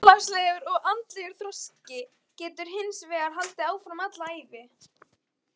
Félagslegur og andlegur þroski getur hins vegar haldið áfram alla ævi.